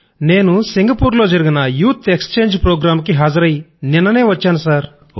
నేను సింగపూర్ లో జరిగిన యూత్ ఎక్స్చేంజ్ ప్రోగ్రామ్ కి హాజరై నిన్ననే వచ్చాను సర్